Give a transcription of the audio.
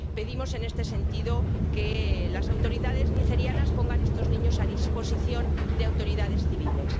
Pedimos, en este sentido, que las autoridades nigerianas pongan a estos niños a disposición de autoridades civiles.